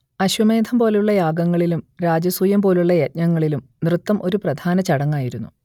അശ്വമേധം പോലുള്ള യാഗങ്ങളിലും രാജസൂയം പോലുള്ള യജ്ഞങ്ങളിലും നൃത്തം ഒരു പ്രധാന ചടങ്ങായിരുന്നു